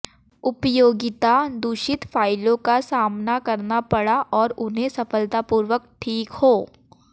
उपयोगिता दूषित फ़ाइलों का सामना करना पड़ा और उन्हें सफलतापूर्वक ठीक हो